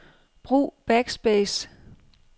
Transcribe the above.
Brug backspace.